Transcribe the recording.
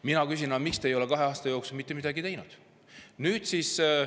Mina küsin: miks te ei ole kahe aasta jooksul mitte midagi teinud?